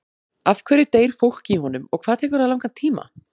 Af hverju deyr fólk í honum og hvað tekur það langan tíma?